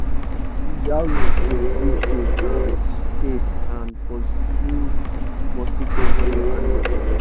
dongoyaro da give shade and shade and pursue mosquito when your animal da rest